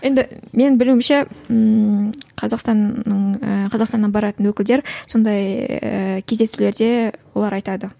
енді менің білуімше ммм қазақстанның ы қазақстаннан баратын өкілдер сондай ііі кездесулерде олар айтады